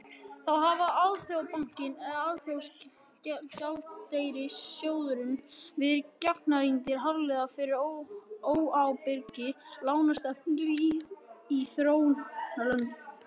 þá hafa alþjóðabankinn og alþjóðagjaldeyrissjóðurinn verið gagnrýndir harðlega fyrir óábyrga lánastefnu í þróunarlöndum